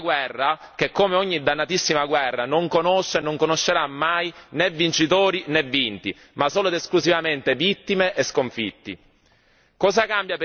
Una guerra infinita, una guerra che come ogni dannatissima guerra non conosce e non conoscerà mai né vincitori né vinti, ma solo ed esclusivamente vittime e sconfitti.